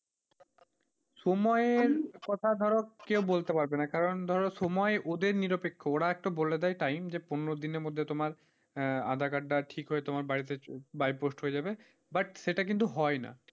সময়ের কথা ধরো কেউ বলতে পারবে না কারণ ধরো সময় ওদের নিরপেক্ষ ওরা একটা বলে দেয় time যে পনেরো দিনের মধ্যে তোমার aadhaar card টা ঠিক হয়ে তোমার বাড়িতে bye post হয়ে যাবে but সেটা কিন্তু হয় না।